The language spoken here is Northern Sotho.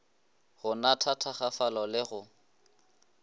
go natha thakgafala le go